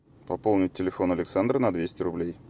пополнить телефон александра на двести рублей